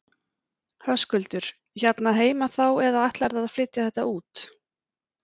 Höskuldur: Hérna heima þá eða ætlarðu að flytja þetta út?